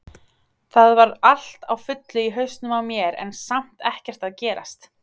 Það var allt á fullu í hausnum á mér en samt ekkert að gerast.